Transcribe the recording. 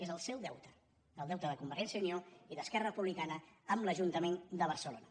és el seu deute el deute de convergència i unió i d’esquerra republi·cana amb l’ajuntament de barcelona